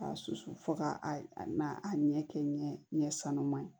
K'a susu fo k'a a a n'a a ɲɛ kɛ ɲɛ sanuma ye